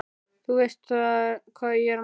Þú veist hvað ég er að meina.